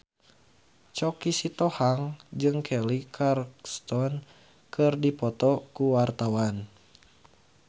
Choky Sitohang jeung Kelly Clarkson keur dipoto ku wartawan